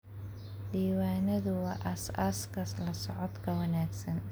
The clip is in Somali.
Diiwaanadu waa aasaaska la socodka wanaagsan.